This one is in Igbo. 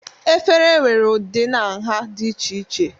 efere nwere ụdị na nha dị iche iche